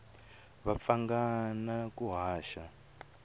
va pfanga na ku haxa